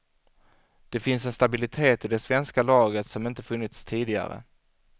Det finns en stabilitet i det svenska laget som inte funnits tidigare.